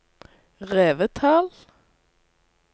Revetal